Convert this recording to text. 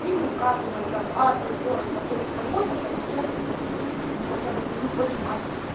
или указывает там адрес город такой-то такой-то получатель такой-то мы хотя бы будем понимать